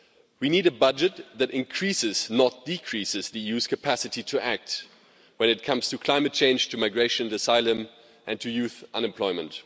We need a budget that increases, rather than decreases, the EU's capacity to act when it comes to climate change, migration, asylum and youth unemployment.